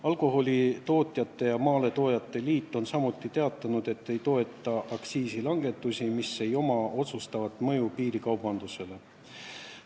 Alkoholitootjate ja Maaletoojate Liit on samuti teatanud, et ei toeta aktsiisilangetusi, mil pole otsustavat mõju piirikaubandusele.